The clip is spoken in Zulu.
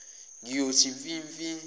ngiyothi mfi mfi